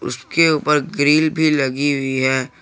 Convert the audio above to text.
जिसके ऊपर ग्रिल भी लगी हुई है।